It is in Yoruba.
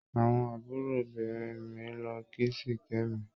Àwọn àbúròbìnrin mi lọ kí Sikemi.